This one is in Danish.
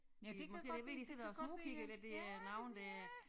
Øh måske det ved de sidder og smugkigger ind ad det er nogle der